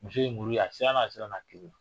muso ye muru ye a siranna a siranna a kelen.